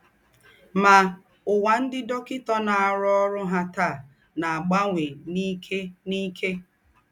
Mà, úwà ńdị́ dọ́kịtà nọ́ árụ́ọ̀rụ̀ ha tàa ná-àgbànwè n’íkè n’íkè.